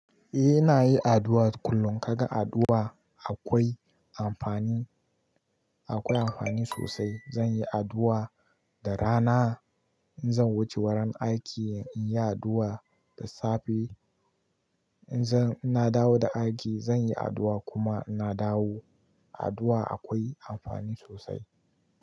A ina yi addu'a kullum. Kaga addu'a akwai amfani, akwai amfani sosai. Zan yi addu'a da rana, in zan wuce wurin aiki in yi addu'a da safe, in zan-- ina dawo da aiki zan yi addu'a kuma ina dawo. Addu'a akwai amfani sosai.